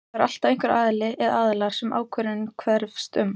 Það er alltaf einhver aðili eða aðilar sem ákvörðunin hverfist um.